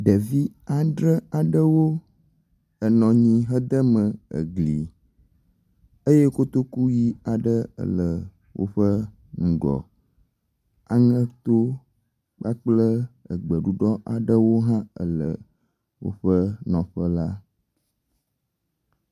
Ɖevi andre aɖewo enɔ anyi hedeme egli eye kotoku ʋi aɖe ele woƒe ŋgɔ. Aŋeto kpakple egbeɖuɖɔ aɖewo hã ele woƒe nɔƒe la.